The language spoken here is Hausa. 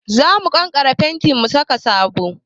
Za mu kankare fentin mu sake sabo.